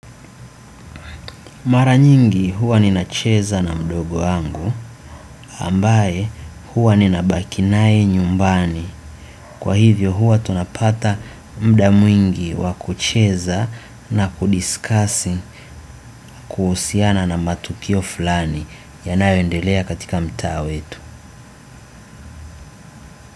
Mara nyingi huwa ninacheza na mdogo wangu ambaye huwa ninabaki naye nyumbani. Kwa hivyo huwa tunapata mda mwingi wa kucheza na kudiscussi kuhusiana na matukio fulani yanayoendelea katika mtaa wetu.